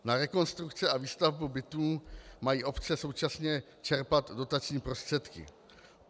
Na rekonstrukci a výstavbu bytů mají obce současně čerpat dotační prostředky.